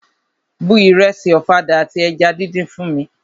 Bu ìrẹsì ọ̀fadà àti eja díndín fún mi!